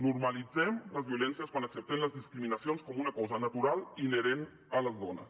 normalitzem les violències quan acceptem les discriminacions com una cosa natural i inherent a les dones